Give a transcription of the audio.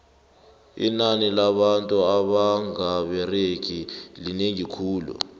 inani labantu abanga beregiko linengi khulu